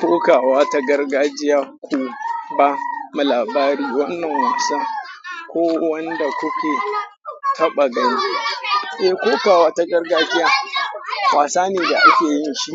Kokawa ta gargajiya ku ba labari wannan wasan ko wanda kuke taɓa gani. Eh kokawa ta gargajiya wasa ne da ake yin shi